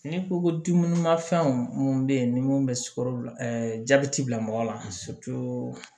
N'i ko ko dumuni ma fɛnw mun bɛ ye ni mun bɛ sukoro jabɛti bila mɔgɔ la